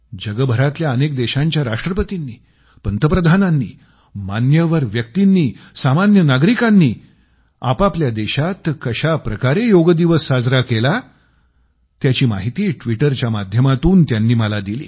जगभरातल्या अनेक देशांच्या राष्ट्रपतींनी पंतप्रधानांनी मान्यवर व्यक्तींनी सामान्य नागरिकांनी आपआपल्या देशात कशा प्रकारे योग दिवस साजरा केला त्याची माहिती ट्विटरच्या माध्यमातून त्यांनी मला दिली